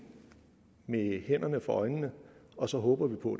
med hænderne for øjnene og så håber vi på